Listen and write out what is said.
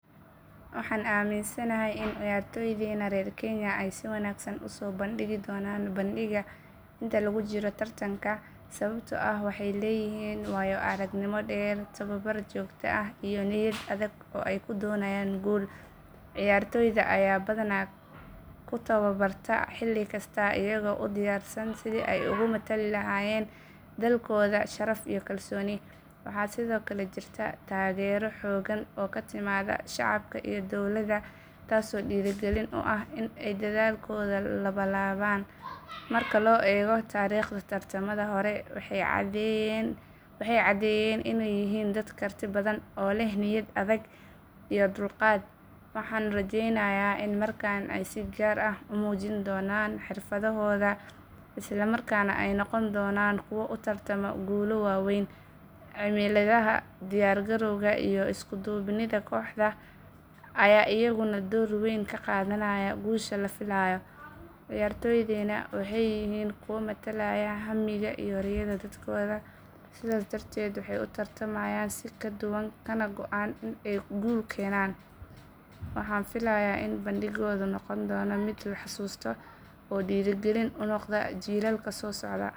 Waxaan aaminsanahay in ciyaartoydeena reer Kenya ay si wanaagsan u soo bandhigi doonaan bandhigga inta lagu jiro tartanka sababtoo ah waxay leeyihiin waayo aragnimo dheer, tababar joogto ah iyo niyad adag oo ay ku doonayaan guul. Ciyaartoyda ayaa badanaa ku tababarta xilli kasta iyagoo u diyaarsan sidii ay ugu matali lahaayeen dalkooda sharaf iyo kalsooni. Waxaa sidoo kale jirta taageero xooggan oo ka timaada shacabka iyo dowladda taasoo dhiirrigelin u ah in ay dadaalkooda labanlaabaan. Marka loo eego taariikhda tartamada hore waxay caddeeyeen inay yihiin dad karti badan oo leh niyad adag iyo dulqaad. Waxaan rajaynayaa in markan ay si gaar ah u muujin doonaan xirfadohooda isla markaana ay noqon doonaan kuwo u tartama guulo waaweyn. Cimilada, diyaar garowga, iyo isku duubnida kooxda ayaa iyaguna door weyn ka qaadanaya guusha la filayo. Ciyaartoydeena waxay yihiin kuwa matalaya hammiga iyo riyada dadkooda sidaas darteed waxay u tartamayaan si ka duwan kana go’an in ay guul keenaan. Waxaan filayaa in bandhiggoodu noqon doono mid la xusuusto oo dhiirrigelin u noqda jiilka soo socda.